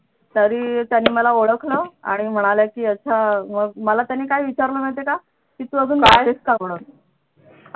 तरी त्यांनी मला ओळखलं आणि म्हणाल्या की अच्छा मग मला त्यांनी काय विचारलं माहितीये का की तू अजून गातेस का म्हणून